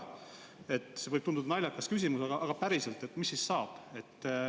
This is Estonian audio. Küsimus võib tunduda naljakas, aga päriselt, mis siis saab.